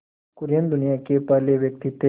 कुरियन दुनिया के पहले व्यक्ति थे